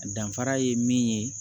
Danfara ye min ye